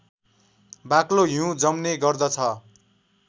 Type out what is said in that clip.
बाक्लो हिउँ जम्ने गर्दछ